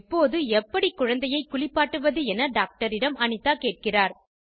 எப்போது எப்படி குழந்தையை குளிப்பாட்டுவது என டாக்டரிடம் அனிதா கேட்கிறார்